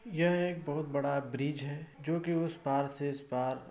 यह एक बोहोत बड़ा ब्रिज हैं जो कि उस पार से इस पार --